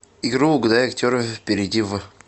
игру угадай актера перейди в